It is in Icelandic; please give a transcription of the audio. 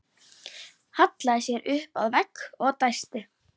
Hallaði sér upp að vegg og dæsti.